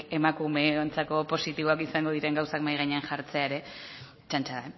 emakumeontzako positiboak izango diren gauzak mahai gainean jartzea ere txantxa